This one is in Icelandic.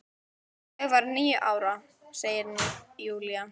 Ég var níu ára, segir Júlía.